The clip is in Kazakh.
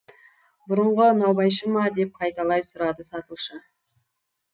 бұрынғы наубайшы ма деп қайталай сұрады сатушы